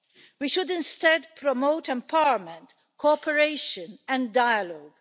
We should instead promote empowerment, cooperation and dialogue.